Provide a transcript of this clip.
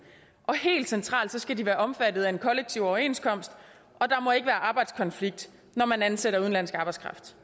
og helt centralt skal de være omfattet af en kollektiv overenskomst og der må ikke være arbejdskonflikt når man ansætter udenlandsk arbejdskraft